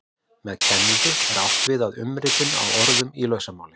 Með kenningu er átt við umritun á orðum í lausamáli.